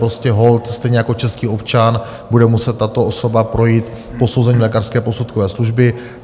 Prostě holt stejně jako český občan bude muset tato osoba projít posouzením lékařské posudkové služby.